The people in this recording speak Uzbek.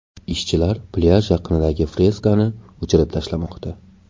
Ishchilar plyaj yaqinidagi freskani o‘chirib tashlamoqda.